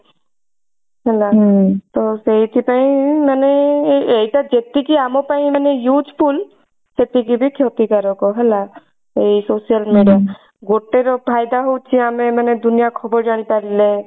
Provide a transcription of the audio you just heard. ହେଲା ତ ସେଇଥି ପାଇଁ ମାନେ ଏଇଟା ଯେତିକି ଆମ ପାଇଁ ମାନେ useful ସେତିକି ବି କ୍ଷତିକାରକ ହେଲା ଏଇ social media ଗୋଟେ ର ଫାଇଦା ହଉଛି ଆମେ ମାନେ ଦୁନିଆ ଖବର ଜାଣି ପାରିଲେ